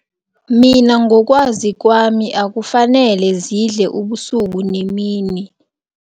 Mina ngokwazi kwami, akufanele zidle ubusuku nemini.